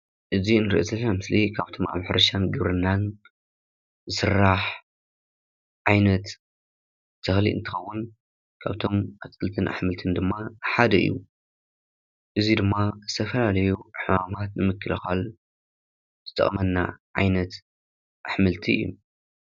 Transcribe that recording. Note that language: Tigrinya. እዚ ንሪኦ ዘለና ምስሊ ካብ ሕርሻን ግብርናን ዝስራሕ ዓይነት ተኽሊ እንትኸውን ካብቶም ኣትክልትን ኣሕምልትን ሓደ እዩ ። እዚ ድማ ዝተፈላለዩ ሕማማት ንምክልኻል ዝጠቕመና ዓይነት ኣሕምልቲ እዩ።